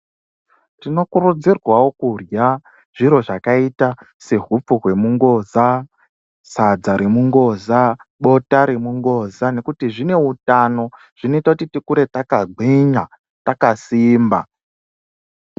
Tinokurudzirwawo kurya zviro zvakaita sehupfu hwemungoza , sadza remungoza , bota remungoza nekuti zvine utano zvinoita kuti tikure takagwinya takasimba .